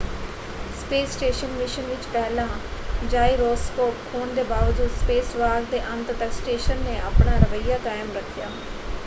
Space station mission ਵਿੱਚ ਪਹਿਲਾਂ gyroscope ਖੋਣ ਦੇ ਬਾਵਜੂਦ ਸਪੇਸਵਾਕ ਦੇ ਅੰਤ ਤੱਕ ਸਟੇਸ਼ਨ ਨੇ ਆਪਣਾ ਰਵੱਈਆ ਕਾਇਮ ਰੱਖਿਆ।